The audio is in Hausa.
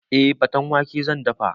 Eh, faten wake zan dafa